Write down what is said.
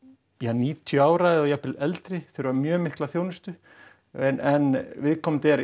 níutíu ára eða jafnvel eldri þurfa mjög mikla þjónustu en viðkomandi er